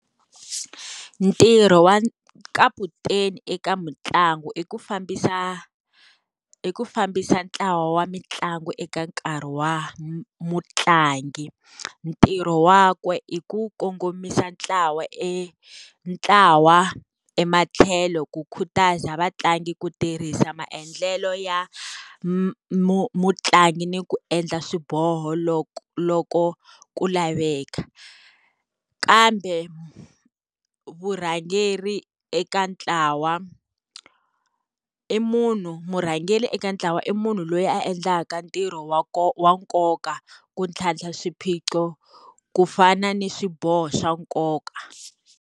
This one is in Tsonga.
Ntirho wa kaputeni eka mitlangu i ku fambisa i ku fambisa ntlawa wa mitlangu eka nkarhi wa mutlangi, ntirho wakwe i ku kongomisa ntlawa e ntlawa ematlhelo ku khutaza vatlangi ku tirhisa maendlelo ya mutlangi ni ku endla swiboho loko, loko ku laveka. Kambe vurhangeri eka ntlawa i munhu, murhangeri eka ntlawa i munhu loyi a endlaka ntirho wa wa nkoka ku tlhantlha swiphiqo ku fana ni swiboho swa nkoka.